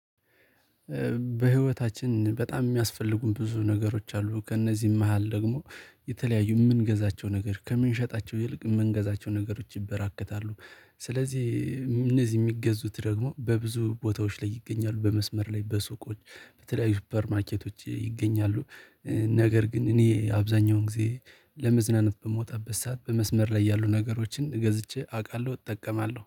በህይወታችን በጣም የሚያስፈልጉን ብዙ ነገሮች አሉ ከእነዚህም መሃል ደግሞ የተለያዩ የምንገዛቸው ነገር ከምንሸጣቸው ይልቅ የምንገዛቸው ነገሮች ይበራከታሉ። ስለዚህ እነዚህ ሚገዙት ደግሞ በብዙ ቦታዎች ላይ ይገኛሉ በመስመር ላይ በሱቆች በተለያዩ ሱፐር ማርኬቶች ይገኛሉ። ነገር ግን እኔ አብዛኛውን ጊዜ ለመዝናናት በመውጣበት ሰዓት በመስመር ላይ ያሉ ነገሮችን ገዝቼ አውቃለሁ እጠቀማለሁ